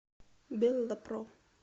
беллапро